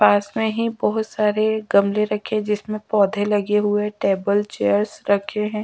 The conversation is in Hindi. पास में ही बहुत सारे गमले रखे जिसमें पौधे लगे हुए टेबल चेयर्स रखे हैं।